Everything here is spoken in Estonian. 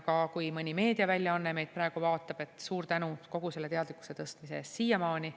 Ja kui mõni meediaväljaanne meid praegu vaatab, siis suur tänu kogu selle teadlikkuse tõstmise eest siiamaani.